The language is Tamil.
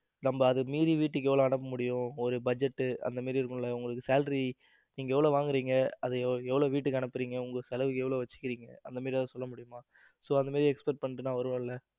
நம்ம அதை மீறி வீட்டுக்கு எவ்ளோ அனுப்ப முடியும்? ஒரு budget அந்த மாதிரி இருக்கும்ல உங்க salary நீங்க எவ்ளோ வாங்குறீங்க அதை எவ்வளவு வீட்டுக்கு அனுப்புறீங்க உங்க செலவுக்கு எவ்வளவு வச்சிக்கிறீங்க அந்த மாதிரி ஏதாவது சொல்ல முடியுமா so அந்த மாதிரி expect பண்ணிட்டு நான் வருவேன்ல.